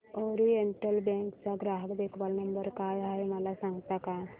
oriental bank चा ग्राहक देखभाल नंबर काय आहे मला सांगता का